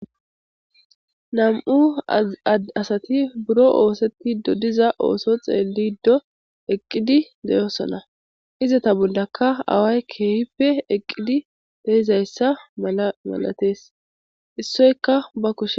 Vam7u zad asati buro ooseti dodiza ooso xeelido eqqidi deyosona izata bondaka away keehippe eqqidi deizayssa mala malatees issoyka ba kushe